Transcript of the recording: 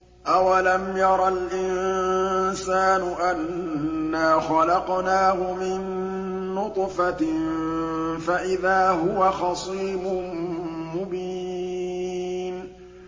أَوَلَمْ يَرَ الْإِنسَانُ أَنَّا خَلَقْنَاهُ مِن نُّطْفَةٍ فَإِذَا هُوَ خَصِيمٌ مُّبِينٌ